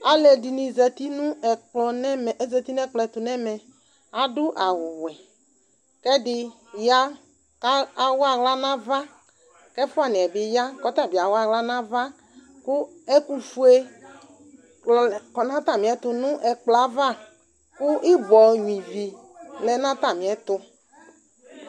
Alʋɛdɩnɩ zati nʋ ɛkplɔ nʋ ɛmɛ, azati nʋ ɛkplɔ ɛtʋ nʋ ɛmɛ Adʋ awʋwɛ kʋ ɛdɩ ya kʋ awa aɣla nʋ ava kʋ ɛfʋanɩ yɛ bɩ ya kʋ ɔta bɩ awa aɣla nʋ ava kʋ ɛkʋfue klɔ kɔ nʋ atamɩɛtʋ nʋ ɛkplɔ yɛ ava kʋ ɩbɔ nyuǝ ivi lɛ nʋ atamɩɛtʋ